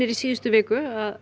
í síðustu viku að